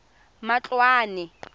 matloane